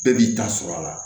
Bɛɛ b'i ta sɔrɔ a la